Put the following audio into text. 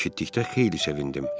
Mən bunu eşitdikdə xeyli sevindim.